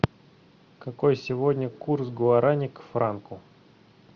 какой сегодня курс гуарани к франку